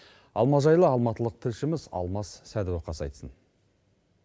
алма жайлы алматылық тілшіміз алмас сәдуақас айтсын